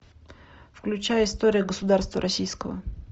включай история государства российского